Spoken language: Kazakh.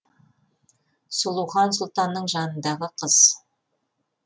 сұлухан сұлтанның жанындағы қыз